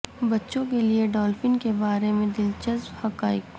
بچوں کے لئے ڈالفن کے بارے میں دلچسپ حقائق